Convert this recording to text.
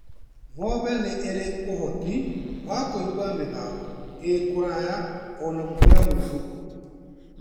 Ng'ombe nĩ ĩrĩ ũhoti wa kũigua mĩgambo ĩ kũraihu ona gũkĩra mũndũ.